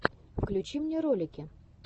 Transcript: включи мне ролики